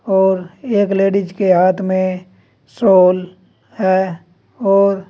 और एक लेडिस के हाथ में साॅल है और--